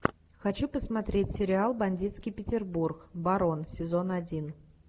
хочу посмотреть сериал бандитский петербург барон сезон один